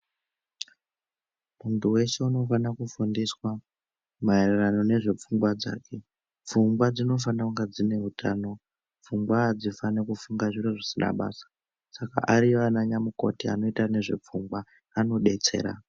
Munthu weshe unofana kufundiswa maererano nezvepfungwa dzake. Pfungwa dzinofanira kunge dzine utano, pfungwa hadzifani kufunga zvisina basa. Saka ariyo ananamukoti anoita nezvepfungwa anodetsera.